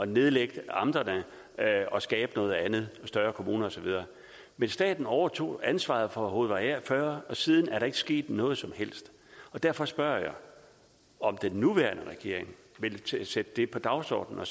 nedlægge amterne og skabe noget andet større kommuner og så videre men staten overtog ansvaret for hovedvej a40 og siden er der ikke sket noget som helst derfor spørger jeg om den nuværende regering vil sætte det på dagsordenen